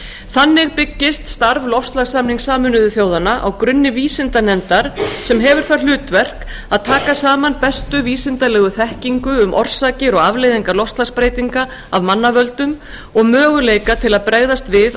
þannig byggist starf loftslagssamnings sameinuðu þjóðanna á grunni vísindanefndar sem hefur það hlutverk að taka saman bestu vísindalega þekkingu um orsakir og afleiðingar loftslagsbreytinga af mannavöldum og möguleika til að bregðast við á